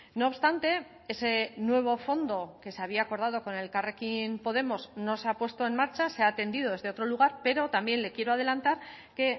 no obstante ese nuevo fondo que se había acordado con elkarrekin podemos no se ha puesto en marcha se ha atendido desde otro lugar pero también le quiero adelantar que